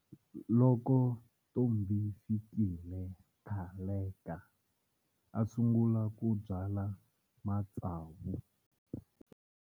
Loko Ntombifikile Ngaleka a sungula ku byala matsavu.